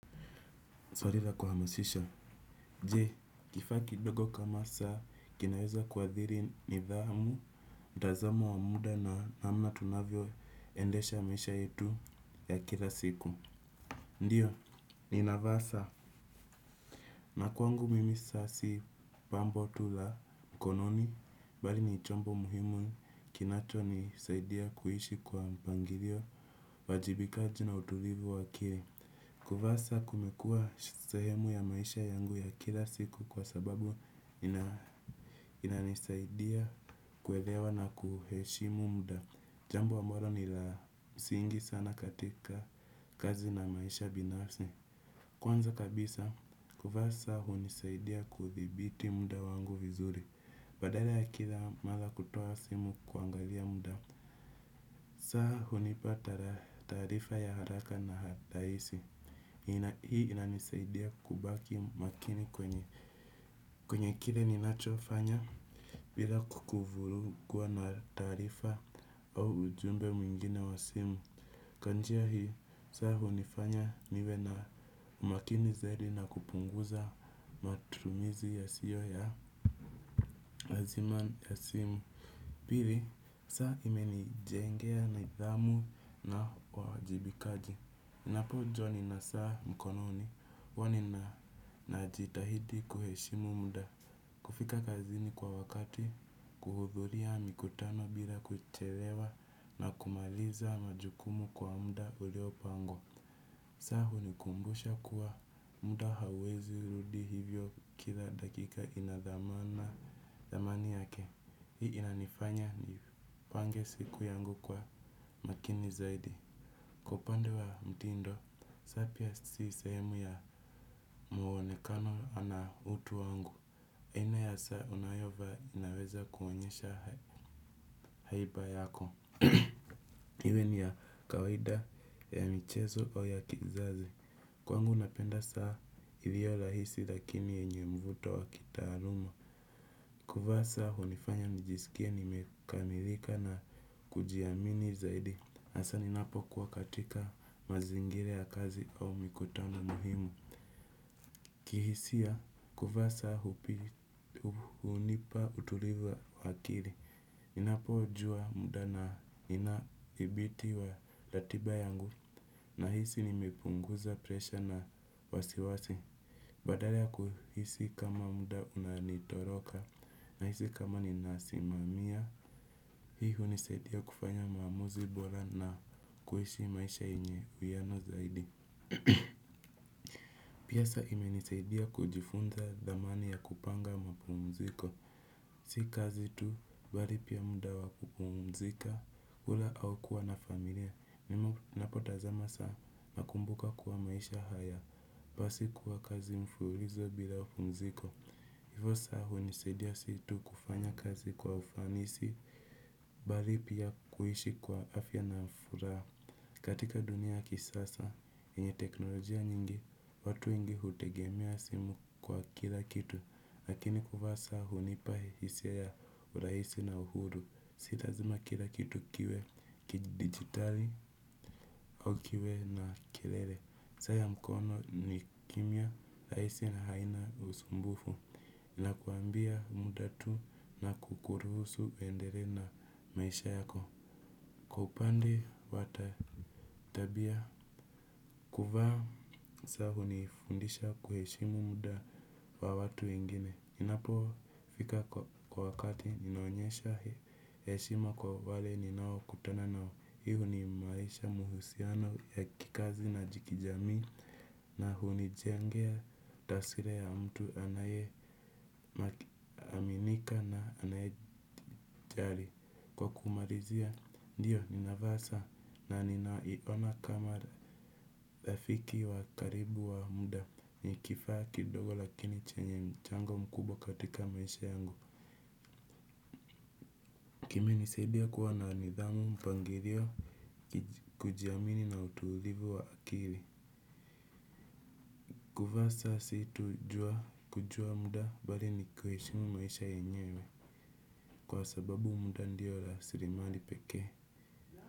Swali la kuhamasisha. Je, kifaa kindogo kama saa, kinaweza kuadhiri nidhamu, mtazamo wa muda na namna tunavyo endesha maisha yetu ya kila siku. Ndiyo, ni navaa saa. Na kwangu mimi saa si pambo tu lamkononi, bali ni chombo muhimu kinacho nisaidia kuishi kwa mpangilio, uwajibikaji na utulivu wake. Kuvaa saa kumekua sehemu ya maisha yangu ya kila siku kwa sababu inanisaidia kuelewa na kuheshimu muda. Jambo ambalo nilamsingi sana katika kazi na maisha binafsi. Kwanza kabisa, kuvaa saa hunisaidia kuthibiti muda wangu vizuri. Badala ya kila mara kutoa simu kuangalia muda. Saa hunipata taarifa ya haraka na rahisi, hii inanisaidia kubaki makini kwenye kile ninacho fanya bila kwa kuvurugwa na taarifa au ujumbe mwingine wa simu. Kwa njia hii, saa hunifanya niwe na makini zaidi na kupunguza matumumizi yasiyo ya lazima ya simu. Pili, saa imenijengea nidhamu na uwajibikaji, napo jua nina saa mkononi huwanina na jitahidi kuheshimu muda. Kufika kazini kwa wakati, kuhudhuria mikutano bila kuchelewa na kumaliza majukumu kwa muda uliopangwa. Saa hunikumbusha kuwa muda hawezi rudi hivyo kila dakika inadhamana thamani yake. Hii inanifanya ni pange siku yangu kwa makini zaidi. Kwa upande wa mtindo, saa pia si sehemu ya mwonekano ana utu wangu aina ya saa unayovaa inaweza kuoenyesha haiba yako. Iwe ni ya kawaida ya michezo ua ya kizazi. Kwangu napenda saa hivyo lahisi lakini yenye mvuto wa kitaaluma. Kuvaa saa hunifanya nijisikie nimekamilika na kujiamini zaidi. Asa ninapo kuwa katika mazingira ya kazi au mikutano muhimu. Kihisia, kuvaa saa hunipa utulivu wa akili. Ninapo jua muda na ninathibiti ya ratiba yangu nahisi nimepunguza presha na wasiwasi. Badala ya kuhisi kama muda unanitoroka nahisi kama ninasimamia, hii hunisaidia kufanya maamuzi bora na kuishi maisha yenye uhiano zaidi. Pia saa imenisaidia kujifunza thamani ya kupanga mapumziko. Si kazi tu, bali pia muda wa kupumzika, kula au kuwa na familia, ninapotazama saa nakumbuka kuwa maisha haya, basi kuwa kazi mfululizo bila pumziko. Hivi saa hunisadia si tu kufanya kazi kwa ufanisi, bali pia kuishi kwa afya na furaha. Katika dunia ya kisasa, yenye teknolojia nyingi, watu wengi hutegemea simu kwa kila kitu, lakini kuvaa saa hunipa hisia ya urahisi na uhuru. Si lazima kila kitu kiwe, kidigitali au kiwe na kilele. Saa ya mkono ni kimya, rahisi na haina usumbufu, inakuambia muda tu na kukuruhusu uendelee na maisha yako. Kwa pande wa tabia kuvaa saa hunifundisha kuheshimu muda wa watu wengine. Ninapofika kwa wakati ninaonyesha heshima kwa wale ninaokutana nao. Hii huimarisha muhusiano ya kikazi na kijamii. Na hunijengea taswira ya mtu anaye aminika na anayejali. Kwa kumalizia, ndiyo, ninavaa saa na ninaiona kama rafiki wa karibu wa muda ni kifaa kidogo lakini chenye mchango mkubwa katika maisha yangu. Kimenisaidia kuwa na nidhamu mpangilio kujiamini na utulivu wa akili. Kuvaa saa si tu kujua muda bali ni kuheshimu maisha yenyewe. Kwa sababu muda ndiyo rasilimali pekee.